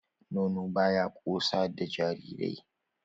Nono ba ya ƙosa da wasu jarirai.